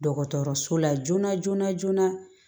Dɔgɔtɔrɔso la joona joona joona